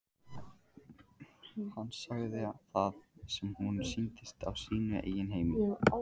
Hann segði það sem honum sýndist á sínu eigin heimili.